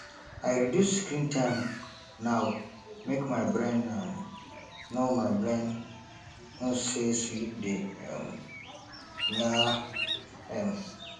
i reduce screen time now make my brain um know brain um know say sleep dey um near um